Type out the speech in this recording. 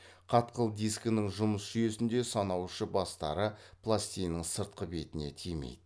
қатқыл дискінің жұмыс жүйесінде санаушы бастары пластинаның сыртқы бетіне тимейді